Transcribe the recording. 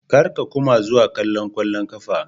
Kar ka kuma zuwa kallon kwallon kafa.